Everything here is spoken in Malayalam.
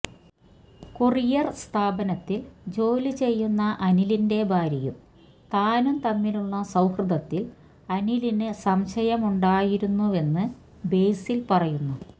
കൊറിയർ സ്ഥാപനത്തിൽ ജോലി ചെയ്യുന്ന അനിലിന്റെ ഭാര്യയും താനും തമ്മിലുള്ള സൌഹൃദത്തിൽ അനിലിന് സംശയുണ്ടായിരുന്നുവെന്ന് ബേസിൽ പറയുന്നു